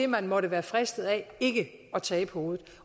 man måtte være fristet af ikke at tabe hovedet